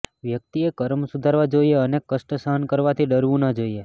વ્યક્તિએ કર્મ સુધારવા જોઈએ અને કષ્ટ સહન કરવાથી ડરવું ન જોઈએ